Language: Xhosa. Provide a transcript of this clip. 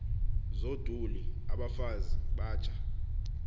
zoduli abafazi batsha